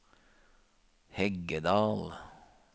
Heggedal